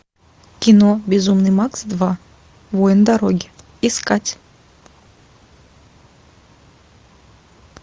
кино безумный макс два воин дороги искать